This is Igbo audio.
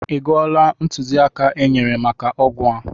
Ọ gụọla ntụziaka e nyere maka ọgwụ a?